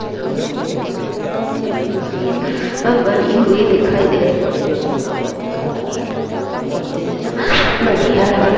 यहाँ इस गेट मे बहुत सारी मूर्तिया बनी हुई दिखाई दे रही है ये छे खंबो मे अलग अलग हिसाब से मूर्तिया बनी अलग अलग--